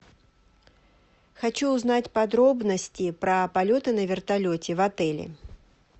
хочу узнать подробности про полеты на вертолете в отеле